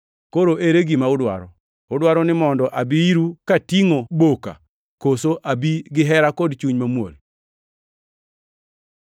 Koro ere gima udwaro? Udwaro ni mondo abi iru katingʼo boka, koso abi gihera kod chuny mamuol?